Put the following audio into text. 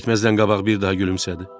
Getməzdən qabaq bir daha gülümsədi.